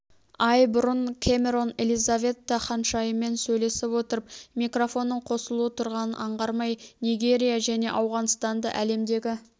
ай бұрын кэмэрон элизаветта ханшайыммен сөйлесіп отырып микрофонның қосулы тұрғанын аңғармай нигерия және ауғанстанды әлемдегі